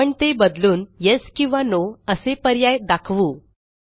आपण ते बदलून येस किंवा नो असे पर्याय दाखवू